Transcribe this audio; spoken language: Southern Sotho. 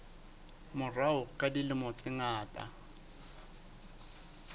morao ka dilemo tse ngata